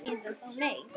Eða þá nei